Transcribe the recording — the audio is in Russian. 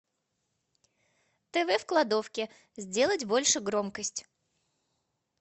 тв в кладовке сделать больше громкость